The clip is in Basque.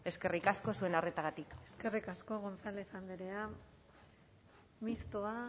eskerrik asko zuen arretagatik eskerrik asko gonzález andrea mistoa